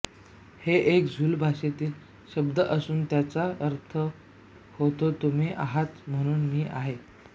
हे एक झुलू भाषेतील शब्द असून त्याचा अर्थ होतो तुम्ही आहात म्हणून मी आहे